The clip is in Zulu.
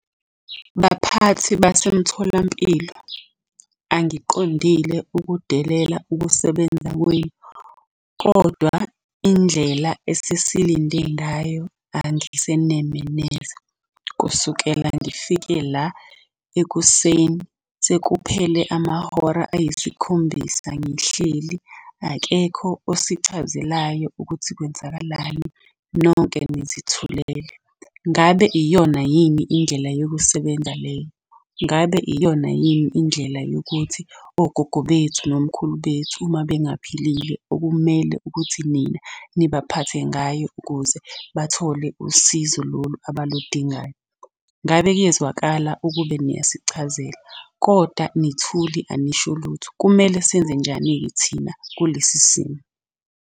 Baphathi basemtholampilo, angiqondile ukudelela ukusebenza kwenu, kodwa indlela esesilinde ngayo angiseneme neze. Kusukela ngifike la ekuseni sekuphele amahora ayisikhombisa ngihleli, akekho osichazelayo ukuthi kwenzakalani, nonke nizithulele. Ngabe iyona yini indlela yokusebenza leyo? Ngabe iyona yini indlela yokuthi ogogo bethu nomkhulu bethu uma bengaphilile okumele ukuthi nina nibaphathe ngayo ukuze bathole usizo lolu abaludingayo? Ngabe kuyezwakala ukube niyasichazela, kodwa nithule anisho lutho. Kumele senze njani-ke thina kulesi simo?